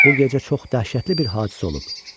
O gecə çox dəhşətli bir hadisə olub.